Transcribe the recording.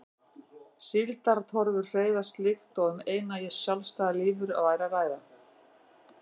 Síldartorfur hreyfast líkt og um eina sjálfstæða lífveru væri að ræða.